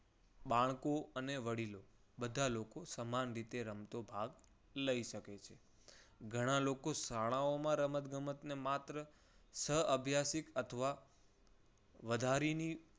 બાળકો અને વડીલો બધા લોકો સમાન રીતે રમતનો ભાગ લઈ શકે છે. ઘણા લોકો શાળાઓ માં રમતગમતને માત્ર સહ અભ્યાસિક અથવા વધારીની